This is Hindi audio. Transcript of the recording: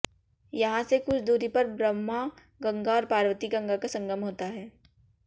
यहां से कुछ दूरी पर ब्रह्म गंगा और पार्वती गंगा का संगम होता है